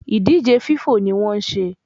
Ìdíje Fífọ̀ ni wọn se